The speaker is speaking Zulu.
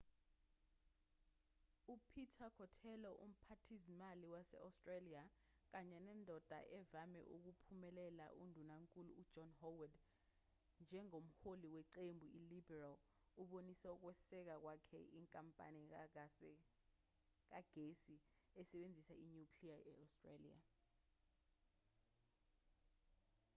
u-peter cotello umphathizimali wase-australia kanye nendoda evame ukuphumelela undunankulu u-john howard njengomholi weqembu i-liberal ubonise ukweseka kwakhe inkampani kagesi esebenzisa i-nuclear e-australia